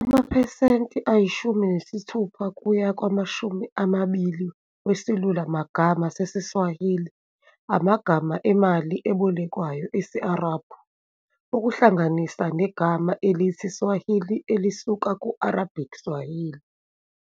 Amaphesenti ayishumi nesithupha kuya kwamashumi amabili wesilulumagama sesiSwahili amagama emali ebolekwayo esi-Arabhu, okuhlanganisa negama elithi swahili, elisuka ku-Arabic sawāḥilī.